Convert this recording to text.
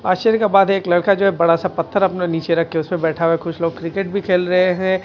आश्चर्य का बात एक लड़का जो है बड़ा सा पत्थर अपना नीचे रखके उसमे बैठा हुआ कुछ लोग क्रिकेट भी खेल रहे हैं।